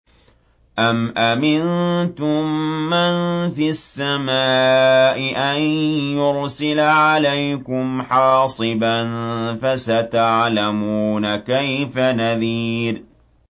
أَمْ أَمِنتُم مَّن فِي السَّمَاءِ أَن يُرْسِلَ عَلَيْكُمْ حَاصِبًا ۖ فَسَتَعْلَمُونَ كَيْفَ نَذِيرِ